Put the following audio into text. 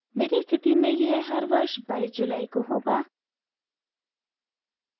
मेरी स्थिति में यह हर वर्ष 22 जुलाई को होगा